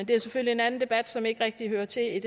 det er selvfølgelig en anden debat som ikke rigtig hører til i